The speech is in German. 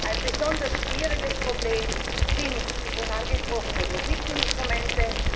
Ein besonders schwieriges Problem sind die schon angesprochenen Musikinstrumente